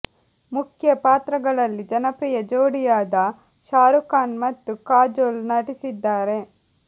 ಮುಖ್ಯ ಪಾತ್ರಗಳಲ್ಲಿ ಜನಪ್ರಿಯ ಜೋಡಿಯಾದ ಶಾರುಖ್ ಖಾನ್ ಮತ್ತು ಕಾಜೊಲ್ ನಟಿಸಿದ್ದಾರೆ